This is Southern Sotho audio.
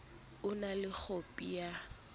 o na le khopi ya